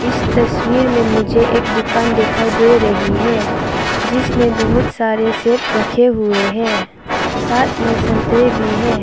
तस्वीर में मुझे एक दुकान दिखाई दे रही है जिसमें बहुत सारे सेव रखे हुए हैं साथ में संतरे भी हैं।